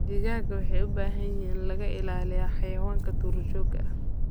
Digaagga waxay u baahan yihiin in laga ilaaliyo xayawaanka duurjoogta ah.